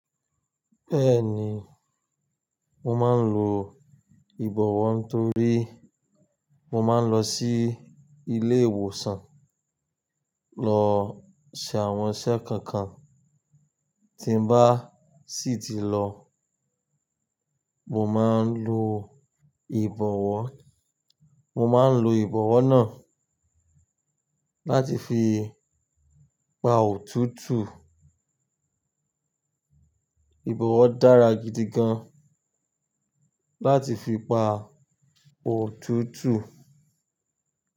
Bẹ́ẹ̀ni, mo máa ń lo ìbọ̀wọ́ torí mo máa ń lọ sí ilé ìwòsàn lọ ṣe àwọn iṣẹ́ kọ̀ọ̀kan. Tí n bá sì tí lọ, mo máa ń lo ìbọ̀wọ́. Mo máa ń lo ìbọ̀wọ́ náà láti fi pa òtútù. Ìbọ̀wọ́ dára gidi gan láti fi pa òtútù.